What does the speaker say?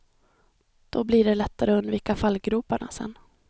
Då blir det lättare att undvika fallgroparna sen.